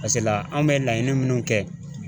la anw bɛ laɲini minnu kɛ